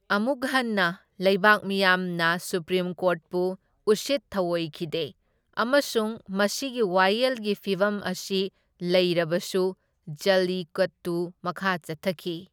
ꯑꯃꯨꯛ ꯍꯟꯅ, ꯂꯩꯕꯥꯛ ꯃꯤꯌꯥꯝꯅ ꯁꯨꯄ꯭ꯔꯤꯝ ꯀꯣꯔꯠꯄꯨ ꯎꯁꯤꯠ ꯊꯧꯑꯣꯏꯈꯤꯗꯦ, ꯑꯃꯁꯨꯡ ꯃꯁꯤꯒꯤ ꯋꯥꯌꯦꯜꯒꯤ ꯐꯤꯚꯝ ꯑꯁꯤ ꯂꯩꯔꯕꯁꯨ ꯖꯜꯂꯤꯀꯠꯇꯨ ꯃꯈꯥ ꯆꯠꯊꯈꯤ꯫